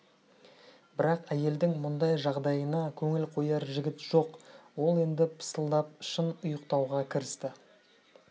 бірақ әйелдің мұндай жағдайына көңіл қояр жігіт жоқ ол енді пысылдап шын ұйықтауға кірісті